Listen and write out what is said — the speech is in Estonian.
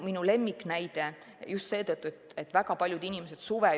Minu lemmiknäide.